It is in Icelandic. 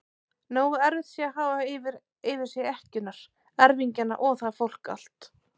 Nógu erfitt sé að hafa yfir sér ekkjurnar, erfingjana og það fólk allt!